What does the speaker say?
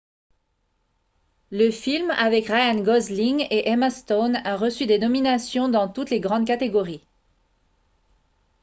le film avec ryan gosling et emma stone a reçu des nominations dans toutes les grandes catégories